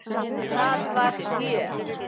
Það var gjöf.